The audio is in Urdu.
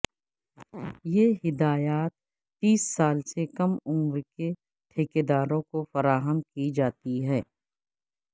یہ ہدایات تیس سال سے کم عمر کے ٹھیکیداروں کو فراہم کی جاتی ہیں